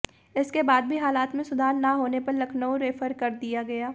इसके बाद भी हालत में सुधार न होने पर लखनऊ रेफर कर दिया गया